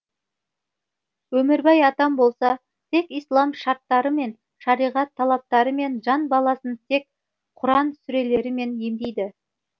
өмірбай атам болса тек ислам шарттарымен шариғат талаптарымен жан баласын тек құран сүрелерімен емдейді